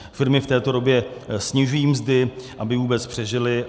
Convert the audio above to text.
Firmy v této době snižují mzdy, aby vůbec přežily.